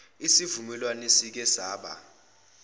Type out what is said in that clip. isivumelwano esike saba